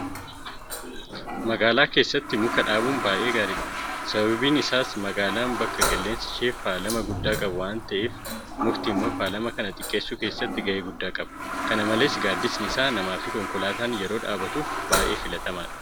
Magaalaa keessatti muka dhaabuun baay'ee gaariidha. Sababiin isaas magaalaan bakka qilleensi ishee faalama guddaa qabu waanta taateef mukti immoo faalama kana xiqqeessuu keessatti gahee guddaa qaba. Kana malees gaaddisni isaa namaafi konkolaataan yeroo dhaabbatuuf baay'ee filatamaadha.